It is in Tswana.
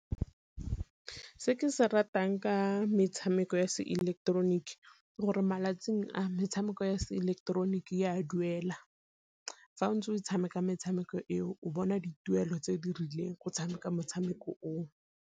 Se ke se ratang ka metshameko ya se ileketeroniki ke gore malatsing a metshameko ya se ileketeroniki e a duela, fa o ntse o tshameka metshameko e o bona dituelo tse di rileng go tshameka metshameko o o.